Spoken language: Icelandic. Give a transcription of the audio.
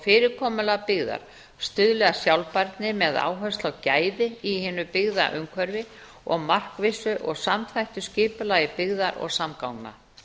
fyrirkomulag byggðar stuðli að sjálfbærni með áherslu á gæði í hinu byggða umhverfi og markvissu og samþættu skipulagi byggða og samgangna